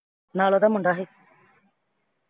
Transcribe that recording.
ਨਾਲ ਉਹਦਾ ਮੁੰਡਾ ਸੀ